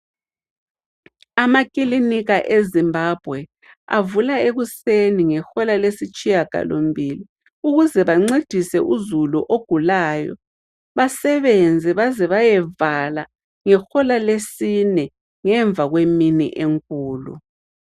Amakilinika eZimbabwe avula ekuseni ngehola lesitshiyagalombili. Ukuze bancedise uzulu ogulayo, basebenze baze bayevala ngehola lesine ngemva kwemini enkulu.